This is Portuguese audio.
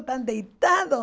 Estão deitados.